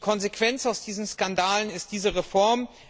Die Konsequenz aus diesen Skandalen ist diese Reform.